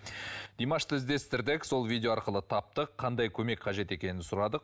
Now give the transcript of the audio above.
димашты іздестірдік сол видео арқылы таптық қандай көмек қажет екенін сұрадық